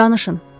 Danışın.